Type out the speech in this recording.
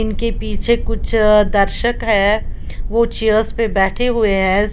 उनके पीछे कुछ दर्शक है वो चेयर्स पर बैठे हुए हैं।